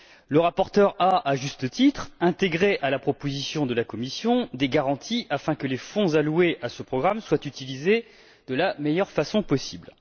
Le rapporteur a intégré, à juste titre, à la proposition de la Commission des garanties afin que les fonds alloués à ce programme soient utilisés de la meilleure façon possible.